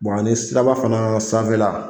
Bon ani siraba fana sanfɛla